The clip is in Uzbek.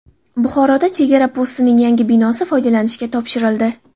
Buxoroda chegara postining yangi binosi foydalanishga topshirildi.